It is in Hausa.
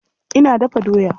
Ina dafa doya.